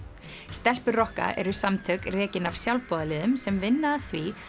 stelpur rokka eru samtök rekin af sjálfboðaliðum sem vinna að því